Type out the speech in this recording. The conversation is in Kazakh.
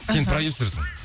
сен продюсерсың